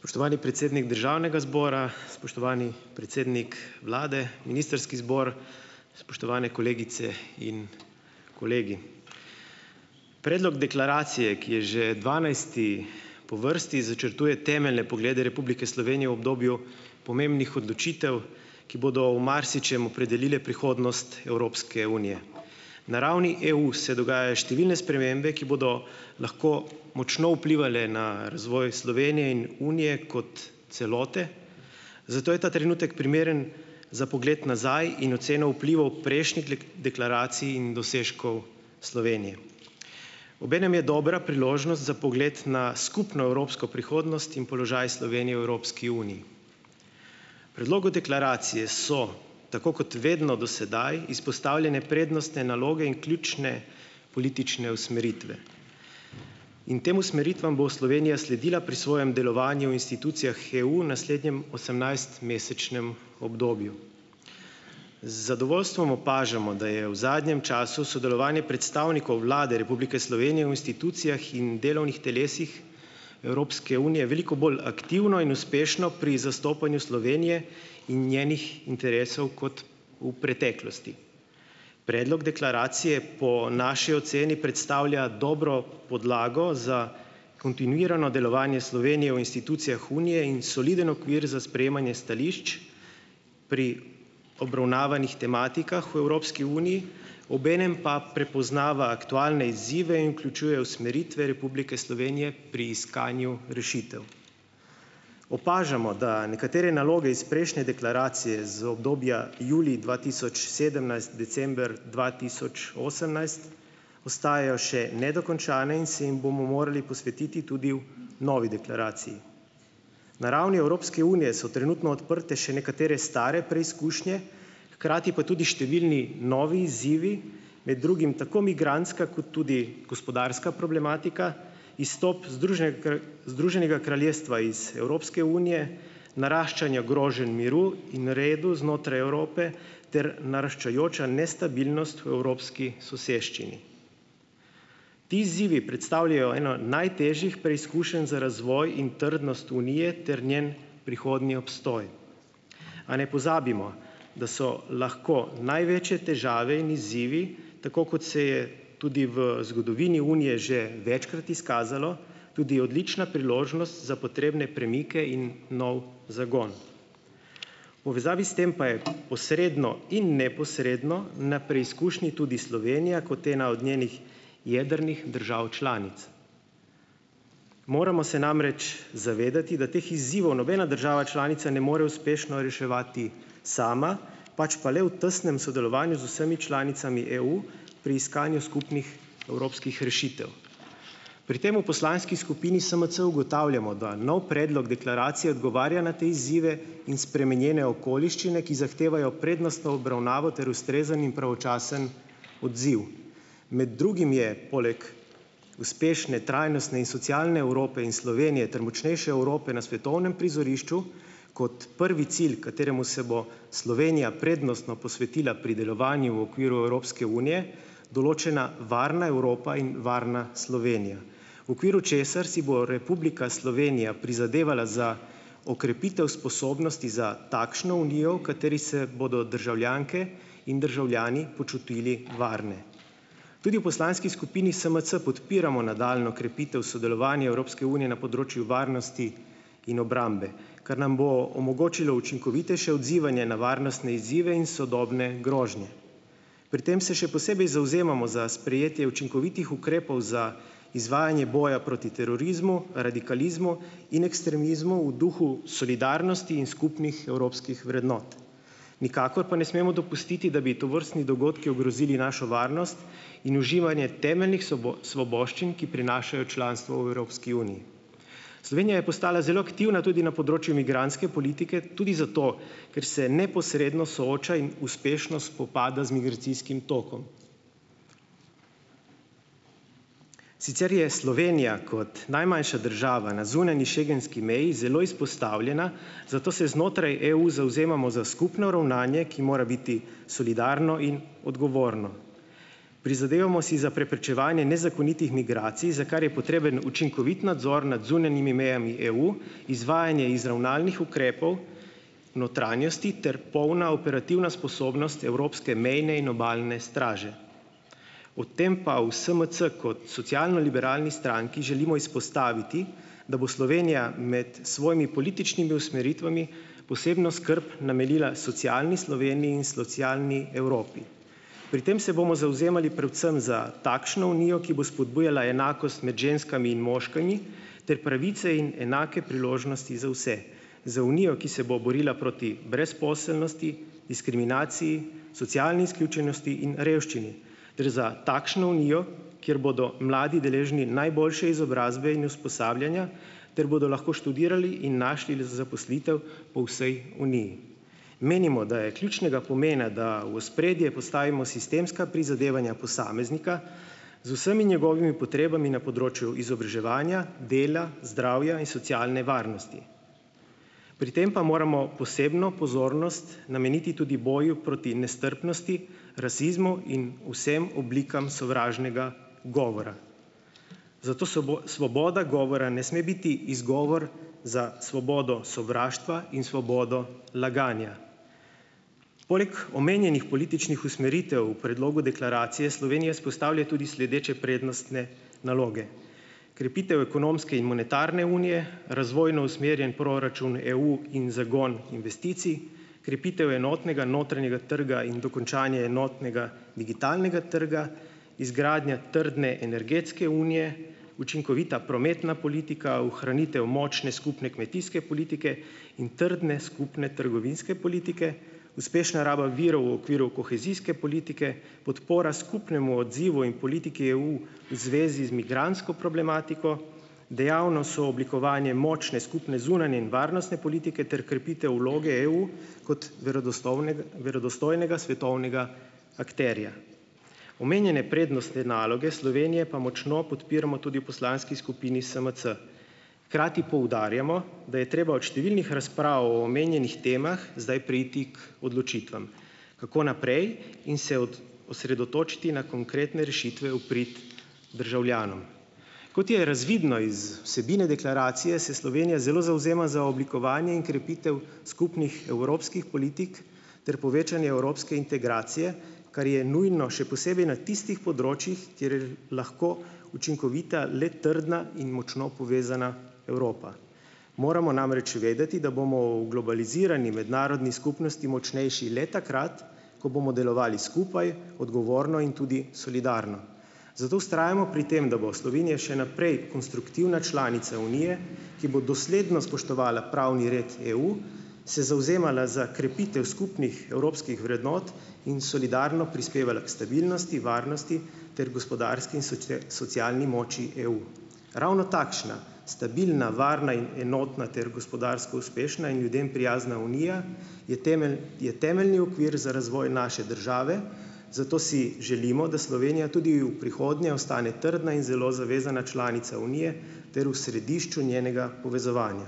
Spoštovani predsednik državnega zbora, spoštovani predsednik vlade, ministrski zbor, spoštovane kolegice in kolegi! Predlog deklaracije, ki je že dvanajsti po vrsti, začrtuje temelje poglede Republike Slovenije v obdobju pomembnih odločitev, ki bodo v marsičem opredelile prihodnost Evropske unije. Na ravni EU se dogajajo številne spremembe, ki bodo lahko močno vplivale ne razvoj Slovenije in Unije kot celote, zato je ta trenutek primeren za pogled nazaj in oceno vplivov prejšnjih deklaracij in dosežkov Slovenije, Obenem je dobra priložnost za pogled na skupno evropsko prihodnost in položaj Slovenije v Evropski V predlogu deklaracije so tako kot vedno do sedaj izpostavljene prednostne naloge in ključne politične usmeritve. In tem usmeritvam bo Slovenija sledila pri svojem delovanju v institucijah EU naslednjem osemnajstmesečnem obdobju. Z zadovoljstvom opažamo, da je v zadnjem času sodelovanje predstavnikov Vlade Republike Slovenije v institucijah in delovnih telesih Evropske unije veliko bolj aktivno in uspešno pri zastopanju Slovenije in njenih interesov kot v preteklosti. Predlog deklaracije po naši oceni predstavlja dobro podlago za kontinuirano delovanje Slovenije v institucijah Unije in soliden okvir za sprejemanje stališč pri obravnavanih tematikah v Evropski uniji, obenem pa prepoznava aktualne izzive in vključuje usmeritve Republike Slovenije pri iskanju rešitev. Opažamo, da nekatere naloge iz prejšnje deklaracije iz obdobja julij dva tisoč sedemnajst-december dva tisoč osemnajst ostajajo še nedokončane in se jim bomo morali posvetiti tudi v novi deklaraciji. Na ravni Evropske unije so trenutno odprte še nekatere stare preizkušnje hkrati pa tudi številni novi izzivi, med drugim tako migrantska kot tudi gospodarska problematika, izstop Združenega kraljestva iz Evropske unije, naraščanja groženj miru in redu znotraj Evrope ter naraščajoča nestabilnost v evropski soseščini. Ti izzivi predstavljajo eno najtežjih preizkušenj za razvoj in trdnost Unije ter njen prihodnji obstoj. A ne pozabimo, da so lahko največje težave in izzivi, tako kot se je tudi v zgodovini Unije že večkrat izkazalo, tudi odlična priložnost za potrebne premike in nov zagon. Povezavi s tem pa je posredno in neposredno na preizkušnji tudi Slovenija kot ena od njenih jedrnih držav članic. Moramo se namreč zavedati, da teh izzivov nobena država članica ne more uspešno reševati sama pač pa le v tesnem sodelovanju z vsemi članicami EU pri iskanju skupnih evropskih rešitev. Pri tem v poslanski skupini SMC ugotavljamo, da nov predlog deklaracije odgovarja na te izzive in spremenjene okoliščine, ki zahtevajo prednostno obravnavo ter ustrezen in pravočasen odziv. Med drugim je poleg uspešne, trajnostne in socialne Evrope in Slovenije ter močnejše Evrope na svetovnem prizorišču kot prvi cilj, kateremu se bo Slovenija prednostno posvetila pri delovanju v okviru Evropske unije, določena varna Evropa in varna Slovenija, v okviru česar si bo Republika Slovenija prizadevala za okrepitev sposobnosti za takšno Unijo, v kateri se bodo državljanke in državljani počutili varne. Tudi v poslanski skupini SMC podpiramo nadaljnjo krepitev sodelovanja Evropske unije na področju varnosti in obrambe, kar nam bo omogočilo učinkovitejše odzivanje na varnostne izzive in sodobne grožnje. Pri tem se še posebej zavzemamo za sprejetje učinkovitih ukrepov za izvajanje boja proti terorizmu, radikalizmu in ekstremizmu, v duhu solidarnosti in skupnih evropskih vrednot. Nikakor pa ne smemo dopustiti, da bi tovrstni dogodki ogrozili našo varnost in uživanje temeljnih svoboščin, ki prinašajo članstvo v Evropski unji. Slovenija je postala zelo aktivna tudi na področju migrantske politike, tudi zato, ker se neposredno sooča in uspešno spopada z migracijskim tokom. Sicer je Slovenija kot najmanjša država na zunanji schengenski meji zelo izpostavljena, zato se znotraj EU zavzemamo za skupno ravnanje, ki mora biti solidarno in odgovorno. Prizadevamo si za preprečevanje nezakonitih migracij, za kar je potreben učinkovit nadzor nad zunanjimi mejami EU, izvajanje izravnalnih ukrepov, notranjosti ter polna operativna sposobnost evropske mejne in obalne straže. O tem pa v SMC kot socialno-liberalni stranki želimo izpostaviti, da bo Slovenija med svojimi političnimi usmeritvami posebno skrb namenila socialni Sloveniji in socialni Evropi. Pri tem se bomo zavzemali predvsem za takšno unijo, ki bo spodbujala enakost med ženskami in moškimi ter pravice in enake priložnosti za vse, za unijo, ki se bo borila proti brezposelnosti, diskriminaciji, socialni izključenosti in revščini. Ter za takšno unijo, kjer bodo mladi deležni najboljše izobrazbe in usposabljanja ter bodo lahko študirali in našli zaposlitev po vsej uniji. Menimo, da je ključnega pomena, da v ospredje postavimo sistemska prizadevanja posameznika, z vsemi njegovimi potrebami na področju izobraževanja, dela, zdravja in socialne varnosti. Pri tem pa moramo posebno pozornost nameniti tudi boju proti nestrpnosti, rasizmu in vsem oblikam sovražnega govora. Zato svoboda govora ne sme biti izgovor za svobodo sovraštva in svobodo laganja. Poleg omenjenih političnih usmeritev v Predlogu deklaracije Slovenija izpostavlja tudi sledeče prednostne naloge. Krepitev ekonomske in monetarne unije, razvojno usmerjen proračun EU in zagon investicij, krepitev enotnega notranjega trga in dokončanje enotnega digitalnega trga, izgradnja trdne energetske unije, učinkovita prometna politika, ohranitev močne skupne kmetijske politike in trdne skupne trgovinske politike, uspešna raba virov v okviru kohezijske politike, podpora skupnemu odzivu in politiki EU v zvezi z migrantsko problematiko, dejavno sooblikovanje močne, skupne, zunanje in varnostne politike ter krepitev vloge EU kot verodostojnega svetovnega akterja. Omenjene prednostne naloge Slovenije pa močno podpiramo tudi v poslanski skupini SMC. Hkrati poudarjamo, da je treba od številnih razprav o omenjenih temah zdaj preiti k odločitvam, kako naprej in se osredotočiti na konkretne rešitve v prid državljanom. Kot je razvidno iz vsebine deklaracije, se Slovenija zelo zavzema za oblikovanje in krepitev skupnih evropskih politik ter povečanje evropske integracije, kar je nujno še posebej na tistih področjih, kjer lahko učinkovita, le trdna in močno povezana Evropa. Moramo namreč vedeti, da bomo v globalizirani mednarodni skupnosti močnejši le takrat, ko bomo delovali skupaj, odgovorno in tudi solidarno. Zato vztrajamo pri tem, da bo Slovenija še naprej konstruktivna članica unije, ki bo dosledno spoštovala pravni red EU, se zavzemala za krepitev skupnih evropskih vrednot in solidarno prispevala k stabilnosti, varnosti ter gospodarski in socialni moči EU. Ravno takšna, stabilna, varna in enotna ter gospodarsko uspešna in ljudem prijazna unija, je je temeljni okvir za razvoj naše države, zato si želimo, da Slovenija tudi v prihodnje ostane trdna in zelo zavezana članica unije ter v središču njenega povezovanja.